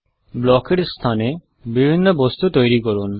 block এর স্থানে বিভিন্ন বস্তু তৈরী করুন